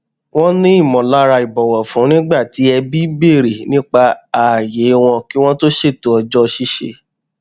wọn ní ìmọlára ìbọwọfún nígbà tí ẹbí bèrè nípa ààyè wọn kí wọn tó ṣètò ọjọ ṣíṣe